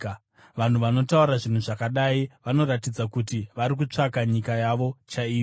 Vanhu vanotaura zvinhu zvakadai vanoratidza kuti vari kutsvaka nyika yavo chaiyo.